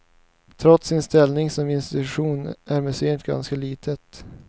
Trots sin ställning som institution är museet ganska litet.